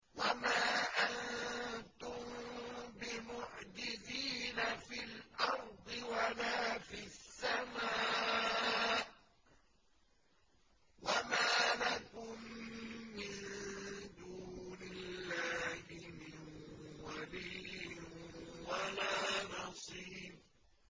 وَمَا أَنتُم بِمُعْجِزِينَ فِي الْأَرْضِ وَلَا فِي السَّمَاءِ ۖ وَمَا لَكُم مِّن دُونِ اللَّهِ مِن وَلِيٍّ وَلَا نَصِيرٍ